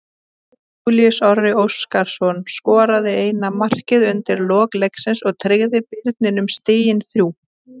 Júlíus Orri Óskarsson skoraði eina markið undir lok leiksins og tryggði Birninum stigin þrjú.